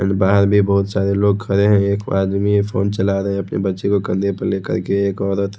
एनवायर बहुत सारे लोग खड़े हैं एक आदमी है फोन चला रहा है यहां पे बच्ची को कंधे पर लेकर के एक औरत--